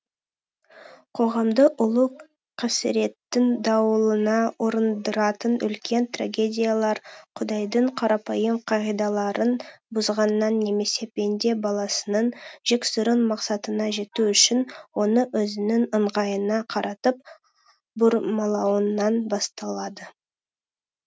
қоғамды ұлы қасіреттің дауылына ұрындыратын үлкен трагедиялар құдайдың қарапайым қағидаларын бұзғаннан немесе пенде баласының жексұрын мақсатына жету үшін оны өзінің ыңғайына қаратып бұрмалауынан басталады